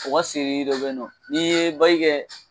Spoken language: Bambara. U ka dɔ bɛ yen nɔ n ye ba kɛ